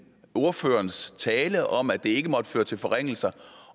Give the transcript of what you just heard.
ordførerens tale om at det ikke må føre til forringelser